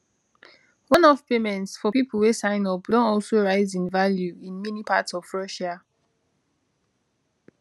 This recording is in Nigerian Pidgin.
oneoff payments for pipo wey sign up don also rise in value in many parts of russia